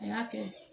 A y'a kɛ